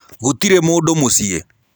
Gũtĩrĩ mũndũ mũcĩĩ.